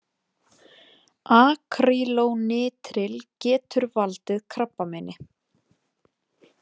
Akrýlónitril- Getur valdið krabbameini.